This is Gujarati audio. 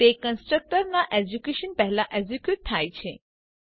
તે કન્સ્ટ્રક્ટર ના એક્ઝીક્યુશન પહેલા એક્ઝીક્યુટ થાય છે